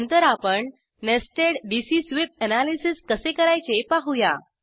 नंतर आपण nested DC sweep analysis कसे करायचे पाहूया